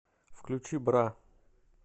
включи бра